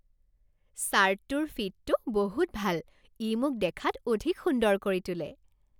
চাৰ্টটোৰ ফিটটো বহুত ভাল। ই মোক দেখাত অধিক সুন্দৰ কৰি তোলে।